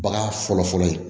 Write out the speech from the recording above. Bagan fɔlɔ fɔlɔ ye